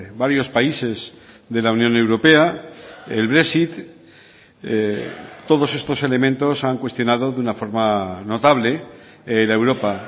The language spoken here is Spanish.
varios países de la unión europea el brexit todos estos elementos han cuestionado de una forma notable la europa